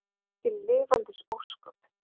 Mikil lifandis ósköp.